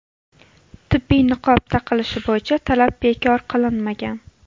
Tibbiy niqob taqilishi bo‘yicha talab bekor qilinmagan.